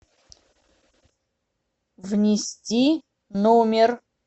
внести номер